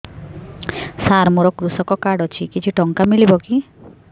ସାର ମୋର୍ କୃଷକ କାର୍ଡ ଅଛି କିଛି ଟଙ୍କା ମିଳିବ କି